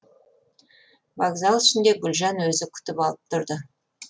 вокзал ішінде гүлжан өзі күтіп алып тұрды